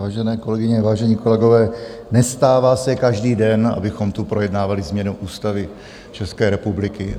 Vážené kolegyně, vážení kolegové, nestává se každý den, abychom tu projednávali změnu Ústavy České republiky.